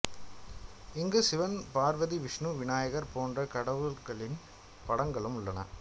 இங்கு சிவன் பார்வதி விஷ்ணு விநாயகர் போன்ற கடவுளர்களின் படங்களும் உள்ளன